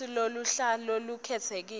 futsi luhla lolukhetsekile